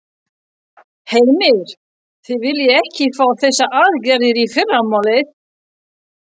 Heimir: Þið viljið ekki fá þessar aðgerðir í fyrramálið?